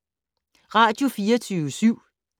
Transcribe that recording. Radio24syv